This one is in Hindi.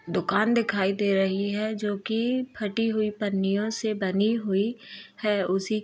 दुकान दिखाई दे रही है जो कि फटी हुई पन्नियों से बनी हुई है उसी --